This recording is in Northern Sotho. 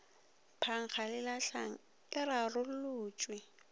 phankga le lahlang e rarolotšwe